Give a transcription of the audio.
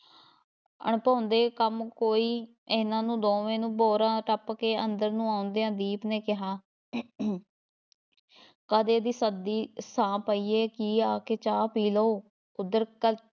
ਅਣਭਾਉਂਦੇ ਕੰਮ ਕੋਈ ਇਹਨਾਂ ਨੂੰ ਦੋਵੇਂ ਨੂੰ ਬੋਰਾਂ ਟੱਪ ਕੇ ਅੰਦਰ ਨੂੰ ਆਉਂਦਿਆਂ ਦੀਪ ਨੇ ਕਿਹਾ ਕਦੇ ਦੀ ਸੱਦਦੀ ਸਾਂ ਪਈ ਹੈ ਕਿ ਆ ਕੇ ਚਾਹ ਪੀ ਲਓ, ਓਧਰ ਕ~